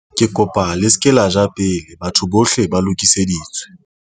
ke kopa le se ke la ja pele batho bohle ba lokiseditswe